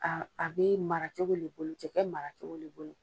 A a bɛ mara cogo le bolo cɛkɛ mara cogo le bolo.